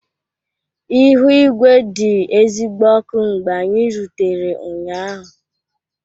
Ihu igwe dị ezigbo ọkụ mgbe anyị rutere ụnyaahụ